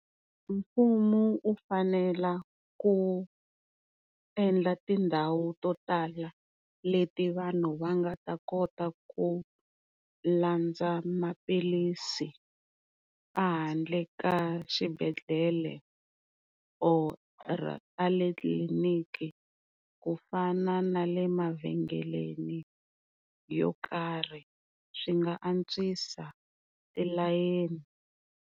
Mfumo u fanela ku endla tindhawu to tala leti vanhu va nga ta kota ku landza maphilisi a handle ka xibedhlele or tliliniki ku fana na le mavhengeleni yo karhi swi nga antswisa tilayeni.